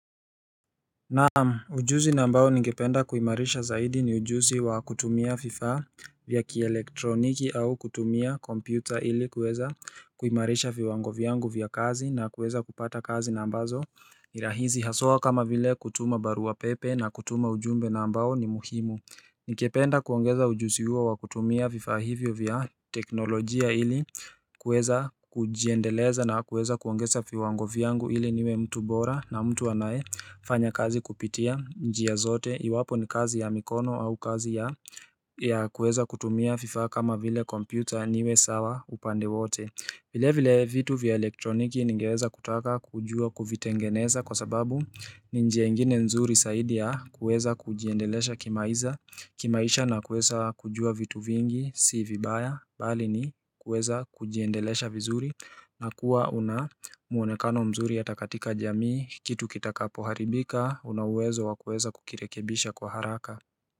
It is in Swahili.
Naam, ujuzi na ambao nigependa kuimarisha zaidi ni ujuzi wa kutumia fifaa vya kielektroniki au kutumia kompyuta ili kuweza kuimarisha viwango vyangu vya kazi na kuweza kupata kazi na ambazo Nirahizi haswa kama vile kutuma barua pepe na kutuma ujumbe na ambao ni muhimu Nikependa kuongeza ujusi huo wa kutumia vifaa hivyo vya teknolojia ili kuweza kujiendeleza na kuweza kuongeza fiwango vyangu iliniwe mtu bora na mtu anaefanya kazi kupitia njia zote iwapo ni kazi ya mikono au kazi ya ya kuweza kutumia vifaa kama vile kompyuta niwe sawa upande wote vile vile vitu vya elektroniki ningeweza kutaka kujua kuvitengeneza kwa sababu ninjia ingine nzuri saidi ya kueza kujiendelesha kimaiza kimaisha na kuesa kujua vitu vingi si vibaya bali ni kueza kujiendelesha vizuri na kuwa una muonekano mzuri hata katika jamii kitu kitakapo haribika unauwezo wa kueza kukirekebisha kwa haraka.